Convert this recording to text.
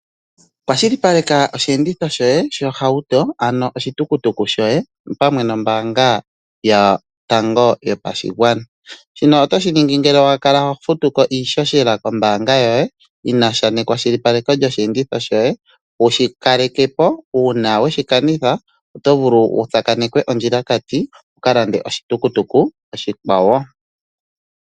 Kwashilipaleka oshiyenditho shoye shohauto ano oshitukutuku shoye opamwe nombaanga yotango yopashigwana ,shino otoshiningi ngele wakala hofutuko iishoshela kombaanga yoye yinasha nekwashilipaleko lyoshi enditho shoye wushi kalekepo uuna weshi kanitha otovulu wutsakanekwe ondjilakati wu kalande oshitukutuku oshikwawo